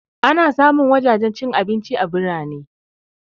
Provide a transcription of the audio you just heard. Ana samun wajajen cin abinci a birane